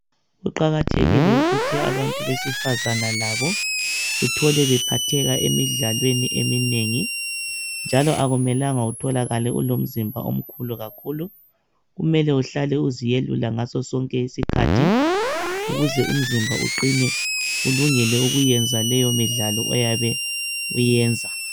Kuqakathekile ukuthi abantu besifazana labo uthole bephatheka emidlalweni eminengi njalo akumelanga utholakale ulomzimba omkhulu kakhulu .Kumele uhlale uziyelula ngaso sonke isikhathi ukuze umzimba uqine ulungele ukuyenza leyo midlalo oyabe uyiyenza.